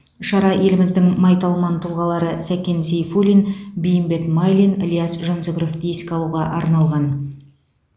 шара еліміздің майталман тұлғалары сәкен сейфуллин бейімбет майлин ілияс жансүгіровті еске алуға арналған